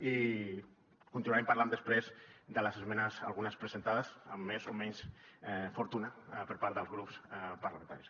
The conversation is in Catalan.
i continuarem parlant després de les esmenes algunes presentades amb més o menys fortuna per part dels grups parlamentaris